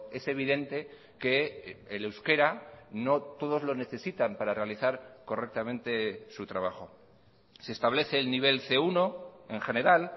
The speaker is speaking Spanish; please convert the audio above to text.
es evidente que el euskera no todos lo necesitan para realizar correctamente su trabajo se establece el nivel ce uno en general